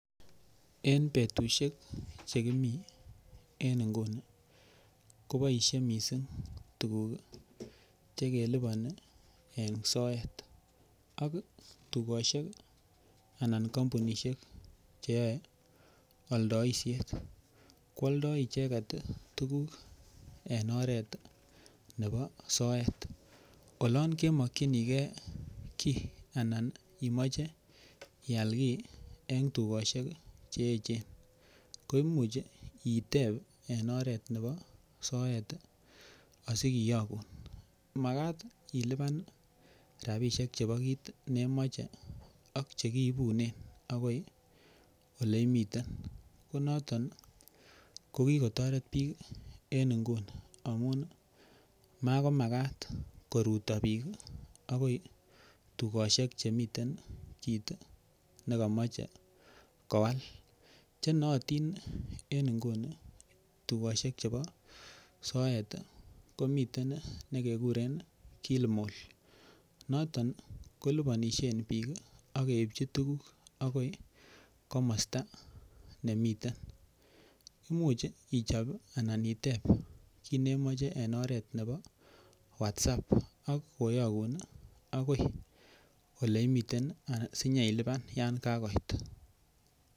En betusiek che kimien nguni koboisie mising tuguk che keliponi en soet ak tugosiek anan kompunisiek che yoe oldoisiet ko alda icheget tuguk en oret nebo soet. Olon kemokinige kiy anan imoche ial kiy en tugosiek che eechen koimuch iteb en oret nebo soet asikiyogun. Magat ilipan rabisiek chebo kiit ne imoche ak che kiibunen agoi ole imiten ko noton ko kigotoret biik en nguni amun magomagat koruto biik agoi tugosiek chemiten kiit ne komoche kowal. Che nootin en nguni tugosiek chebo soet komiten ne keguren Kilimall ko noton koliponisien biik ak keipchi tuguk agoi komosta nemiten imuch ichop anan itep kiit nemoche en oret nebo WhatsApp ak koyogun agoi ole imiten anan sinyeilipan yan kagoit.